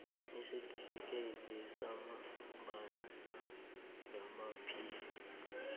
isitifikhethi samambala sezamaphilo